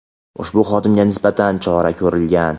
ushbu xodimga nisbatan chora ko‘rilgan.